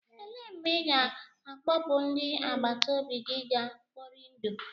Elee mgbe ị ga-akpọpu ndị agbata obi gị ga kpọri ndụ?